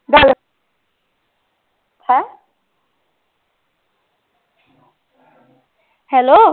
Hello